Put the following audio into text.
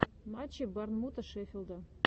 матчи борнмута шеффилда